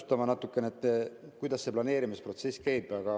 Ma pean natukene täpsustama, kuidas see planeerimisprotsess käib.